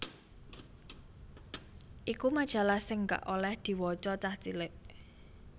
iku majalah sing gak oleh diwaca cah cilik